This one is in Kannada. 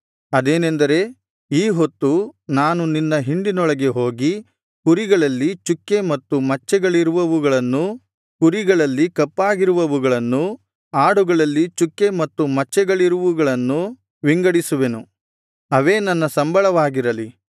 ಅದೇನೆಂದರೆ ಈ ಹೊತ್ತು ನಾನು ನಿನ್ನ ಹಿಂಡಿನೊಳಗೆ ಹೋಗಿ ಕುರಿಗಳಲ್ಲಿ ಚುಕ್ಕೆ ಮತ್ತು ಮಚ್ಚೆಗಳಿರುವವುಗಳನ್ನೂ ಕುರಿಗಳಲ್ಲಿ ಕಪ್ಪಾಗಿರುವವುಗಳನ್ನೂ ಆಡುಗಳಲ್ಲಿ ಚುಕ್ಕೆ ಮತ್ತು ಮಚ್ಚೆಗಳಿರುವುಗಳನ್ನೂ ವಿಂಗಡಿಸುವೆನು ಅವೇ ನನ್ನ ಸಂಬಳವಾಗಿರಲಿ